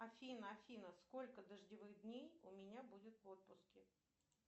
афина афина сколько дождевых дней у меня будет в отпуске